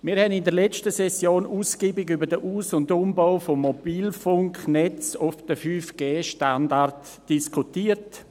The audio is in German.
Wir haben in der letzten Session ausgiebig über den Aus- und Umbau des Mobilfunknetzes auf den 5G-Standard diskutiert.